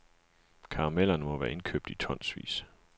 Karamellerne må være indkøbt i tonsvis.